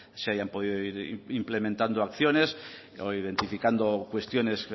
se hayan podido ir implementando acciones o identificando cuestiones